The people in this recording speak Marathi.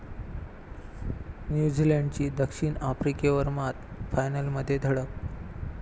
न्यूझीलंडची दक्षिण आफ्रिकेवर मात, फायनलमध्ये धडक